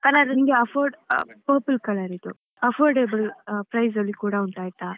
Purple colour ರಿದ್ದು affordable price ಅಲ್ಲಿ ಕೂಡ ಉಂಟಾಯ್ತಾ.